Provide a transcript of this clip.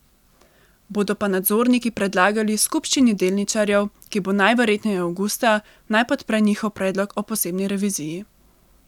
Bodo pa nadzorniki predlagali skupščini delničarjev, ki bo najverjetneje avgusta, naj podpre njihov predlog o posebni reviziji.